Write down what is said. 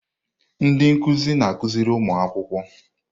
Ndị nkuzi na-akụziri ụmụ akwụkwọ.